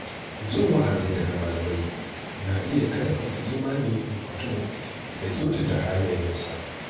Jin wa'azi daga malamai na iya karfafa imanin mutum da kyautata halayensa.